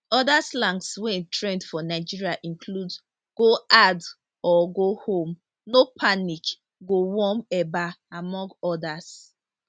oda slangs wey trend for nigeria include go hard or go home no panic go warm eba among odas